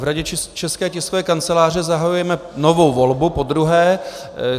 V Radě České tiskové kanceláře zahajujeme novou volbu, podruhé.